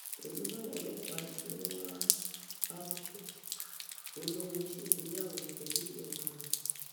pẹlú báwọn ọlọpàá ṣe ń wá a port olórin ṣègbéyàwó pẹlú ìyá ọmọ ẹ